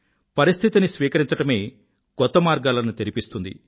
పరిస్థితిని స్వీకరించడమే కొత్త మార్గాలను తెరిపిస్తుంది